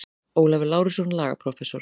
Ólafur Lárusson, lagaprófessor.